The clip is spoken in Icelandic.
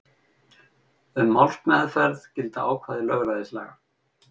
Um málsmeðferð gilda ákvæði lögræðislaga.